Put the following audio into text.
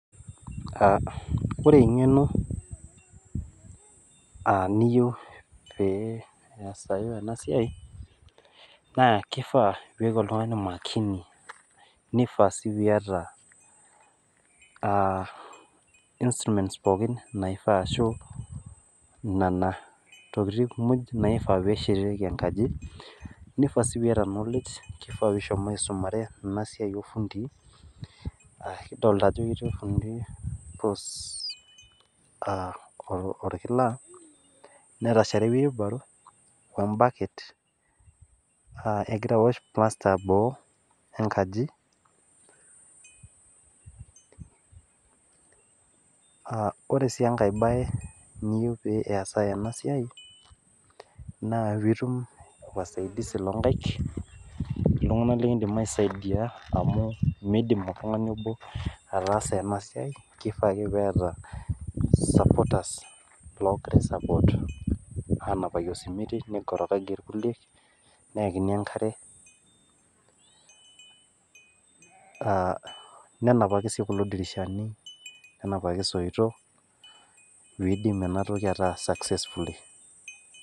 Ore eng'eno niyieu pee eyasai pee esiai ena siai nee kifaa pee eyaku oltung'ani makini naifaa naifaa sii niataa instruments naiyieuni ashu Nena tokitin pookin [naifaa pee eshetieki enkaji mifaa piata knowledge kifaa pee ehomo aisumare enasiai orfundii kidolita Ajo ketii orfundi puus enkila netashare ee wheelbarrow wee baaket egira awosh[csm0)plaster boo enkaji ore sii enkae mbae niyieu pee esaa ena mbae enaa pitum wasaidizi loo nkaik oltung'ana likidim aisaidia amu midim oltung'ani obo ataasa ena siai kifaa ake netaa sapoot loogira napaki oo simiti nikorigaki irkulie neyakini enkare nenapaki kulo dirishani nenapaki soitok pidim ena entoki ataa successfully